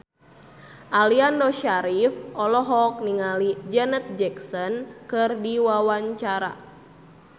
Aliando Syarif olohok ningali Janet Jackson keur diwawancara